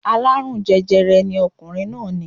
Aláàrùn jẹjẹrẹ ni ọkùnrin náà ní